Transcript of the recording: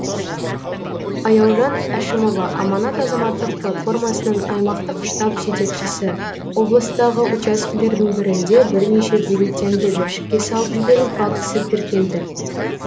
аяужан әшімова аманат азаматтық платформасының аймақтық штаб жетекшісі облыстағы учаскілердің бірінде бірнеше бюллетенді жәшікке салып жіберу фактісі тіркелді